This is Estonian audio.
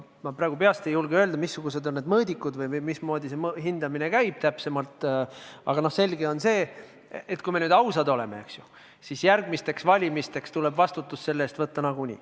Ma praegu peast ei julge öelda, missugused on need mõõdikud või mismoodi see hindamine täpsemalt käib, aga selge on see, et kui me nüüd ausad oleme, siis järgmistel valimistel tuleb vastutus selle eest võtta nagunii.